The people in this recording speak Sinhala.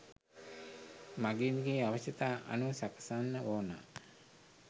මගීන්ගේ අවශ්‍යතා අනුව සකසන්න ඕන